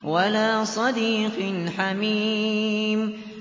وَلَا صَدِيقٍ حَمِيمٍ